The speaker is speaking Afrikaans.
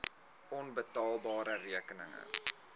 onbetaalde rekeninge